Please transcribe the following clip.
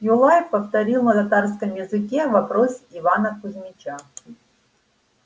юлай повторил на татарском языке вопрос ивана кузмича